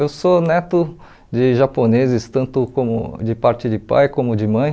Eu sou neto de japoneses, tanto como de parte de pai como de mãe.